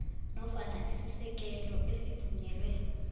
nofana isisekelo esivunyelwe